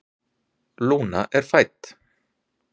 Lúna er fædd.